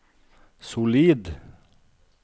solid